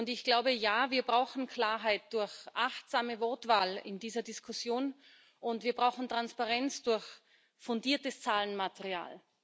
Ich glaube Ja, wir brauchen Klarheit durch achtsame Wortwahl in dieser Diskussion, und wir brauchen Transparenz durch fundiertes Zahlenmaterial.